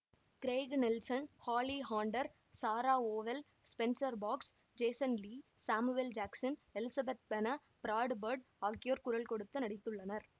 Craig Nelson Holly Hunter Sarah Vowell Spencer Fox Jason Lee Samuel Jackson Elizabeth Pena Brad Bird ஆகியோர் குரல் கொடுத்து நடித்துள்ளனர்